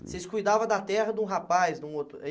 Vocês cuidavam da terra de um rapaz, de um outro? É